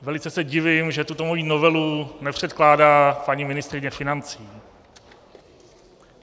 Velice se divím, že tuto moji novelu nepředkládá paní ministryně financí.